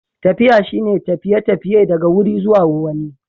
Tafiya shine tafiye-tafiye daga wuri zuwa wani.